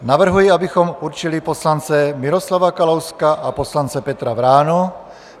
Navrhuji, abychom určili poslance Miroslava Kalouska a poslance Petra Vránu.